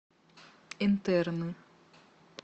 интерны